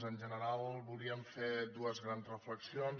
en general volíem fer dues grans reflexions